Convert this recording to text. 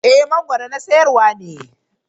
Eh mangoro na sayarwa ne.